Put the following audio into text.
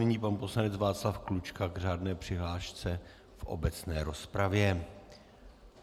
Nyní pan poslanec Václav Klučka k řádné přihlášce v obecné rozpravě.